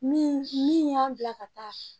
Min min y'an bila ka taa